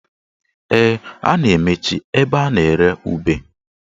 Ee, a na-emechi ebe a na-ere ube